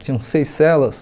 Tinham seis celas.